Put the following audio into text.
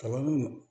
Kalan